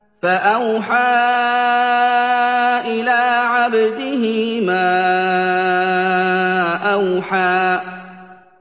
فَأَوْحَىٰ إِلَىٰ عَبْدِهِ مَا أَوْحَىٰ